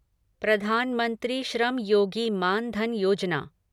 प्रधान मंत्री श्रम योगी मान धन योजना